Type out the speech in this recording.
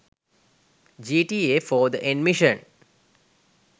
gta 4 the end mission